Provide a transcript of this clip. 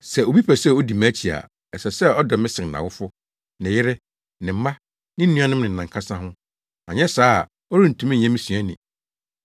“Sɛ obi pɛ sɛ odi mʼakyi a, ɛsɛ sɛ ɔdɔ me sen nʼawofo, ne yere, ne mma, ne nuanom ne nʼankasa ho, anyɛ saa a ɔrentumi nyɛ me suani.